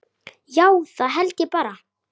Já, það held ég bara.